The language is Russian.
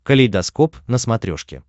калейдоскоп на смотрешке